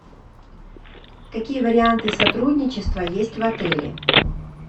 какие варианты сотрудничества есть в отеле